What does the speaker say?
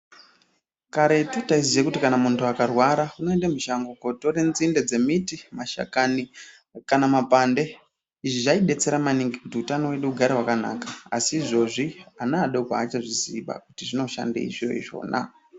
Karetu taiziya kuti kana muntu akarwara anoende mushango kotore nzinde, dzemiti, mashakani kana mapande. Izvi zvaibetsera maningi kuti utano hwedu hugare hwakanaka. Asi izvozvi ana adoko haachazvizi ba kuti zvinoshandei zviro izvona.